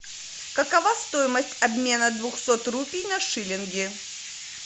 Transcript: какова стоимость обмена двухсот рупий на шиллинги